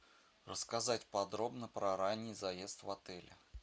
рассказать подробно про ранний заезд в отеле